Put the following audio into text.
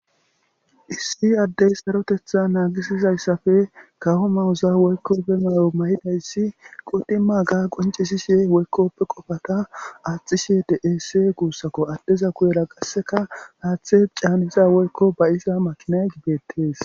Issi addey sarotetha naagisizayssafe kawo mawuza woykkoppe mayo ma7idayssi qodima ga qoncisishe woykkoppe qofata aaxishe dess guussakko addeza kuyera qasseka haaththe caaniza woykko bayisa makinay gibettees.